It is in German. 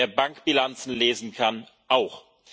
das! Wer Bankbilanzen lesen kann,